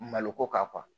Maloko kan